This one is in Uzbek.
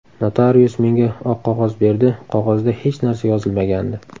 Notarius menga oq qog‘oz berdi, qog‘ozda hech narsa yozilmagandi.